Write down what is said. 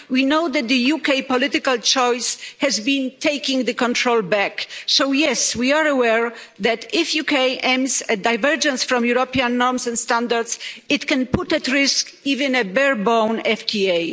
We know that the UK political choice has been taking back control. So yes, we are aware that, if the UK aims at divergence from European norms and standards, it can put at risk even a bare bone FTA.